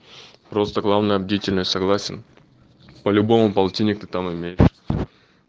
просто главное бдительны согласен по-любому полтинник ты там имеешь